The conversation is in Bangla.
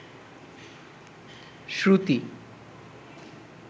শ্রুতি